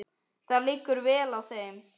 Það liggur vel á þeim.